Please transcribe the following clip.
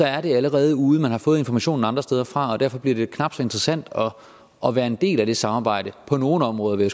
er det allerede ude og man har fået informationen andre steder fra og derfor bliver det knap så interessant at være en del af det samarbejde på nogle områder vil